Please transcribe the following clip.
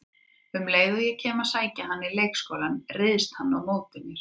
Um leið og ég kem að sækja hann í leikskólann, ryðst hann á móti mér